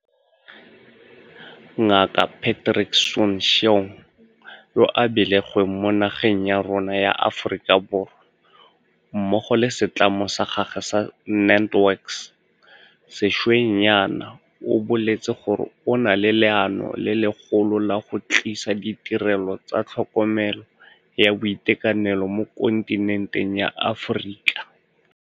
Ngaka Patrick Soon-Shiong, yo a belegweng mo nageng ya rona ya Aforika Borwa, mmogo le setlamo sa gagwe sa NantWorks sešweng jaana o boletse gore o na le leano le legolo la go tlisa ditirelo tsa tlhokomelo ya boitekanelo mo kontinenteng ya Aforika.